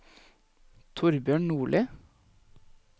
Thorbjørn Nordli